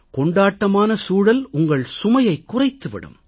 கொண்டாட்டமான சூழல் உங்கள் சுமையைக் குறைத்து விடும்